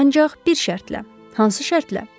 Ancaq bir şərtlə, hansı şərtlə?